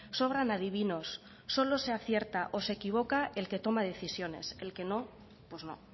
sobran adivinos solo se acierta o se equivoca el que toma decisiones el que no pues no